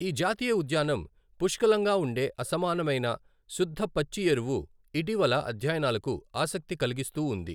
ఈ జాతీయ ఉద్యానం పుష్కలంగా ఉండే అసమానమైన శుద్ధ పచ్చి ఎరువు ఇటీవల అధ్యయనాలకు ఆసక్తి కలిగిస్తూ ఉంది.